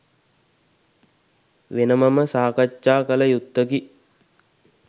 වෙනමම සාකච්ඡා කළ යුත්තකි.